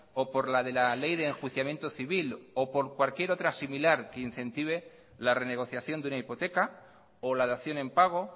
o por la de la ley de enjuiciamiento civil o por cualquier otra similar que incentive la renegociación de una hipoteca o la dación en pago